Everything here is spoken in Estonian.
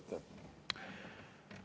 Aitäh!